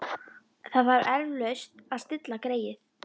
Það þarf eflaust að stilla greyið.